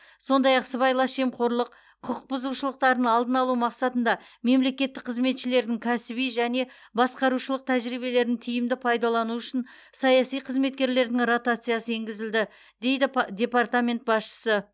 сондай ақ сыбайлас жемқорлық құқық бұзушылықтарын алдын алу мақсатында мемлекеттік қызметшілердің кәсіби және басқарушылық тәжірибелерін тиімді пайдалану үшін саяси қызметкерлердің ротациясы енгізілді дейді департамент басшысы